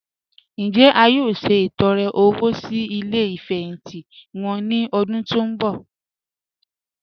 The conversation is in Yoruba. Njẹ́ à yóò ṣetọ̀rẹ̀ owó sí ilẹ̀ ìfẹhintì wọn ni ọ̀dún tó n bọ?